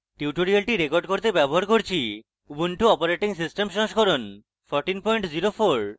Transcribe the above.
tutorial record করতে ব্যবহার করছি: ubuntu operating system সংস্করণ 1404